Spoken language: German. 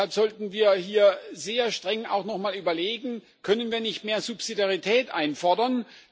Deshalb sollten wir hier sehr streng nocheinmal überlegen Können wir nicht mehr Subsidiarität einfordern?